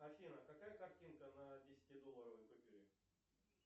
афина какая картинка на десятидолларовой купюре